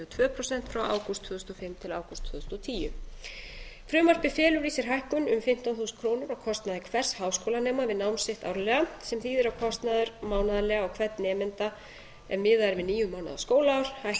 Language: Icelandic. og tvö prósent frá ágúst tvö þúsund og fimm til ágúst tvö þúsund og tíu frumvarpið felur í sér hækkun um fimmtán þúsund krónur á kostnaði hvers háskólanema við nám sitt árlega sem þýðir að kostnaður mánaðarlega á hvern nemanda ef miðað er við níu mánaða skólaár